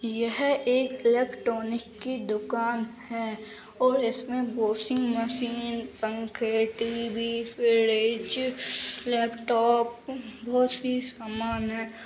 यह एक इलेक्ट्रॉनिक की दुकान है और इसमें वाशिंग मशीन पंखे टी.वी फ्रिज लैपटॉप बहोत सी सामान है।